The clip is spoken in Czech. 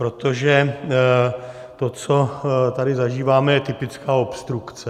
Protože to, co tady zažíváme, je typická obstrukce.